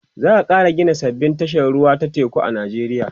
za'a Kara Gina sababbin tashar ruwa ta teku a nijeriya